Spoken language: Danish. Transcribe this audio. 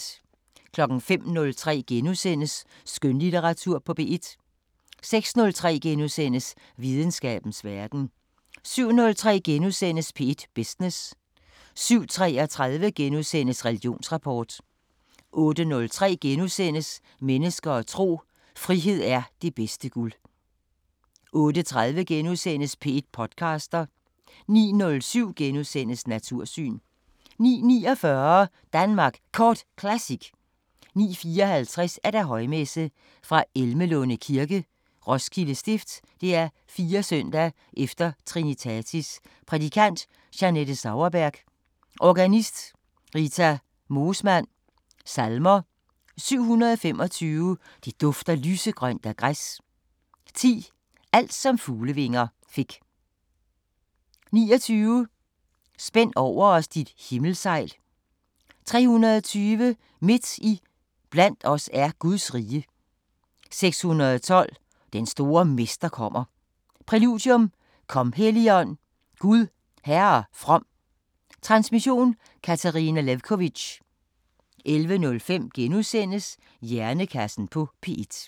05:03: Skønlitteratur på P1 * 06:03: Videnskabens Verden * 07:03: P1 Business * 07:33: Religionsrapport * 08:03: Mennesker og tro: Frihed er det bedste guld * 08:30: P1 podcaster * 09:07: Natursyn * 09:49: Danmark Kort Classic 09:54: Højmesse - Fra Elmelunde Kirke. Roskilde Stift. 4. s. e. Trinitatis Prædikant: Jeanette Sauerberg. Organist: Rita Moosmann. Salmer: 725: Det dufter lysegrønt af græs 10: Alt som fuglevinger fik 29: Spænd over os dit himmelsegl 320: Midt i blandt os er Guds rige 612: Den store mester kommer Præludium: Kom, Helligånd, Gud Herre from. Transmission: Katarina Lewkovitch. 11:05: Hjernekassen på P1 *